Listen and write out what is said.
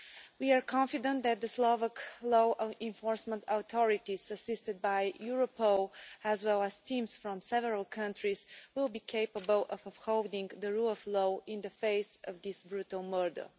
We are confident that the Slovakian law enforcement authorities, assisted by Europol as well as teams from several countries, will be capable of upholding the rule of law in the face of this brutal murder.